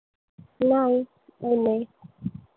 नाही ऊन आहे.